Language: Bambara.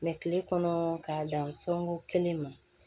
kile kɔnɔ k'a dan sɔngɔ kelen ma